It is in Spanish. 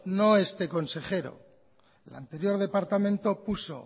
no este consejero el anterior departamento puso